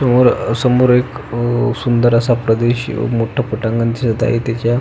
समोर समोर एक सुंदर असा प्रदेश मोठ पटांगण दिसत आहे त्याच्या--